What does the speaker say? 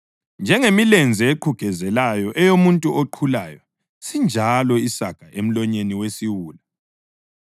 Njengemilenze eqhugezelayo eyomuntu oqhulayo sinjalo isaga emlonyeni wesiwula.